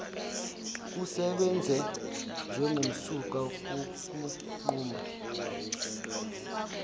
kusebenze njengomsuka wokunquma